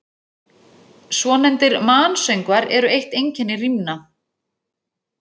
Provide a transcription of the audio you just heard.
Svonefndir mansöngvar eru eitt einkenni rímna.